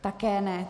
Také ne.